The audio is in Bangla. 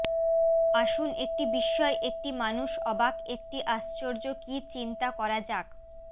আসুন একটি বিস্ময় একটি মানুষ অবাক একটি আশ্চর্য কি চিন্তা করা যাক